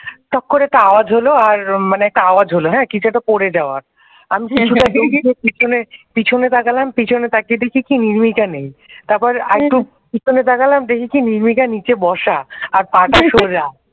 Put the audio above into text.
top করে একটা আওয়াজ হলো আর মানে একটা আওয়াজ হলো হ্যাঁ কিছু একটা পড়ে যাওয়ার আমি কিছু একটা থমকে পিছনে তাকালাম পিছনে তাকিয়ে দেখি কি নির্মিকা নেই তারপরে আর একটু পিছনে তাকালাম দেখি কি নির্মিকা নীচে বসা আর পা টা সোজা